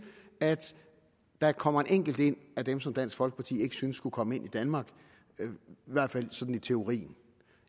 at der kommer en enkelt ind af dem som dansk folkeparti ikke synes skulle komme ind i danmark i hvert fald sådan i teorien